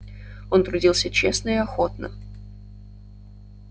он трудился честно и охотно